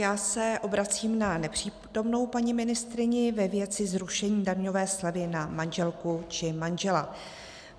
Já se obracím na nepřítomnou paní ministryni ve věci zrušení daňové slevy na manželku či manžela.